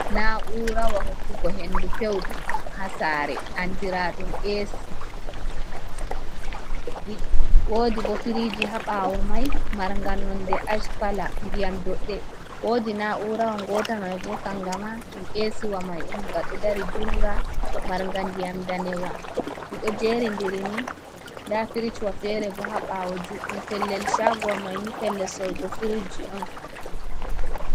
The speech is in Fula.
Na'ura hokkugo hendu pewɗum ha sare andiraɗum AC, wodi bo firiji ha ɓawo mai marnga nonde ash kala ndiyam doɗɗe, wodi na urawa gota mai bo kangama ɗum esiwa mai on, gaɗo dari junga manga, ndiyam danewa, diɗo jeri diri ni da firijwa fere bo ha ɓawo juɗɗum, pellel shaguwa maini pellel sorrugo firiji on.